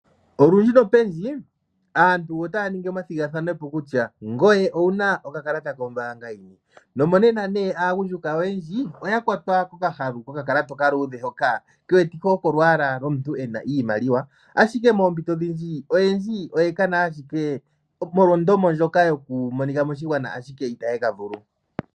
Olundji nopendji, aantu otaya ningi omathigathanopo kutya ngoye owuna okakalata kombaanga yini? No monena nee aagundjuka oyendji oya kwatwa kokahalu kokakalata okaluudhe, hoka he wetike oko olwaala lwomuntu ena iimaliwa. Ashike moompito odhindji oyendji oye kena ashike molwa ondomo ndjoka yokumonika moshigwana, ashike itaye ka vulu.